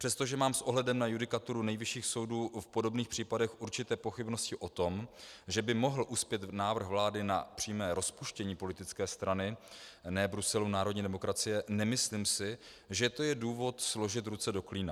Přestože mám s ohledem na judikaturu nejvyšších soudů v podobných případech určité pochybnosti o tom, že by mohl uspět návrh vlády na přímé rozpuštění politické strany Ne Bruselu - Národní demokracie, nemyslím si, že to je důvod složit ruce do klína.